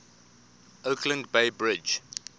oakland bay bridge